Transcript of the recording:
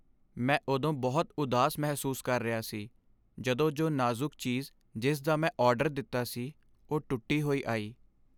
ਮੈਂ ਉਦੋਂ ਬਹੁਤ ਉਦਾਸ ਮਹਿਸੂਸ ਕਰ ਰਿਹਾ ਸੀ ਜਦੋਂ ਜੋ ਨਾਜ਼ੁਕ ਚੀਜ਼ ਜਿਸ ਦਾ ਮੈਂ ਆਰਡਰ ਦਿੱਤਾ ਸੀ, ਉਹ ਟੁੱਟੀ ਹੋਈ ਆਈ।